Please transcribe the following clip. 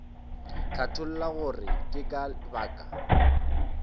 hlatholla gore ke ka baka